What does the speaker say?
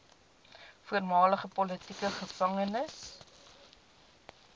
voormalige politieke gevangenes